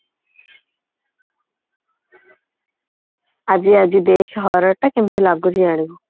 ଆଜି ଆଜି ଦେଖେ horror ଟା କିମିତି ଲାଗୁଛି ଜାଣିବୁ